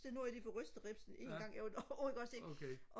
så nu har jeg lige fået rystet ribsen en gang jeg var derovre ikke også ikke og